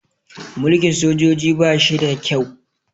Mulkin sojoji ba shi da kyau